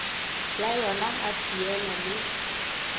la yona ha feela le